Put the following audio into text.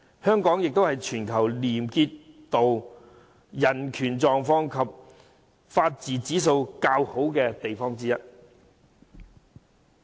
香港也是全球廉潔度、人權狀況及法治指數較好的地方之一。